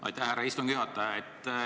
Aitäh, härra istungi juhataja!